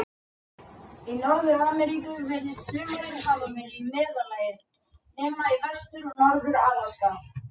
Í Norður-Ameríku virðist sumarið hafa verið í meðallagi, nema í Vestur- og Norður-Alaska.